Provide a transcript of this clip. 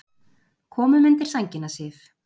Komum undir sængina, Sif.